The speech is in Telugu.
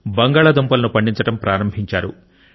బంగాళాదుంపలను పండించడం ప్రారంభించారు